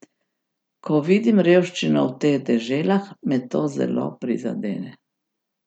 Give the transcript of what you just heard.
Ko vidim revščino v teh deželah, me to zelo prizadene.